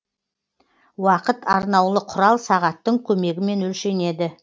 уақыт арнаулы кұрал сағаттың көмегімен өлшенеді